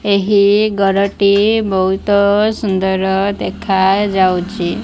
ଏହି ଘରଟି ବୋହୁତ ସୁନ୍ଦର ଦେଖାଯାଉଛି।